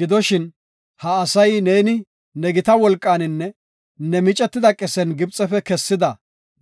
Gidoshin, ha asay neeni ne gita wolqaaninne ne micetida qesen Gibxefe kessida